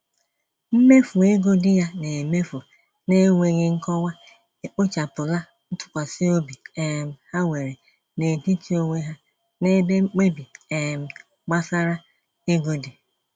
Mmefu ego di ya na-emefu na-enweghi nkọwa ekpochapụla ntụkwsịobi um ha nwere n'etiti onwe ha n'ebe mkpebi um gbasara ego dị.